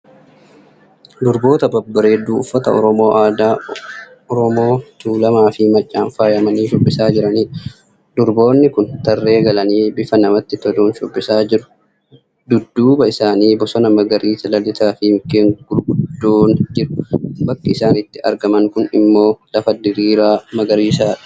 Durboota babbareedduu Oromoo uffata aadaa Oromoo Tulamaafii Maccaan faayamanii shubbisaa jiranidha. Durboonni kun tarree galanii bifa namatti toluun shubbisaa jiru. Dudduuba isaanii bosona magariisa lalisaa fi mukkeen gurguddoon jiru. bakki isaan itti argaman kun immoo lafa diriiraa magariisadha.